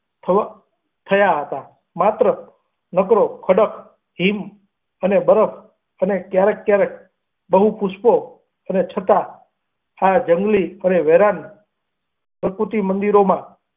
થઈ થયાં હતાં, માત્ર નકરો ખડક, ક્રિમ અને બરક અને ક્યાક ક્યાંક હું પુષ્પો અને છતાં આ જંગલી અને વેરાન પ્રતિમંદિરોમાં.